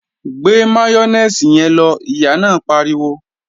Gbé máyónèsì yẹn lọ, Ìyá náà pariwo!